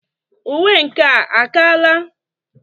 Uwe nkea a kaala?